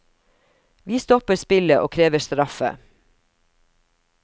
Vi stopper spillet og krever straffe.